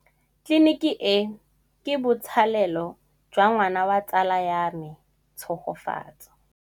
Tleliniki e, ke botsalêlô jwa ngwana wa tsala ya me Tshegofatso.